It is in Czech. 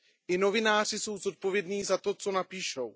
I novináři jsou zodpovědní za to, co napíšou.